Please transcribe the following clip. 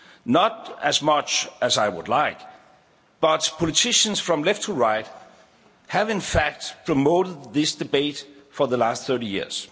Not as much as I would like, but politicians from left to right have, in fact, promoted this debate for the last 30 years.